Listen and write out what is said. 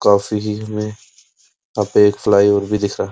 काफिरीन में यहाँ पे एक फ्लाईओवर भी दिख रहा --